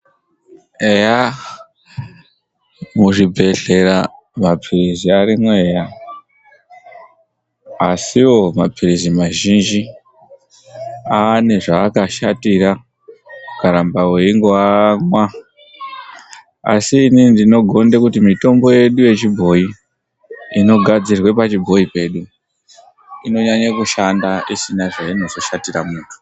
Eyaa, muzvibhedhlera maphilizi arimwo eya, asiwo maphilizi mazhinji, ane zvaakashatira ukaramba wengoiamwa. Asi inini ndinogonde kuti mitombo yedu yechibhoyi inogadzirirwe pachibhoyi pedu inonyanya kushanda isina zvainoshatira munthu.